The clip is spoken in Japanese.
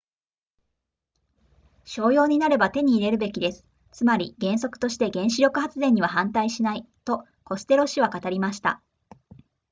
商用になれば手に入れるべきですつまり原則として原子力発電には反対しないとコステロ氏は語りました